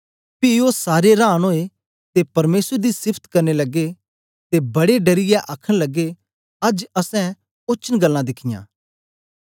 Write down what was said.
पी ओ सारे रांन ओए ते परमेसर दी सिफत करन लगे ते बड़े डरियै आखन लगे अज्ज असैं ओचन गल्लां दिखियां